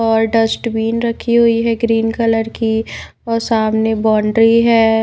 और डस्टबीन रखी हुई है ग्रीन कलर की और सामने बाउंड्री है।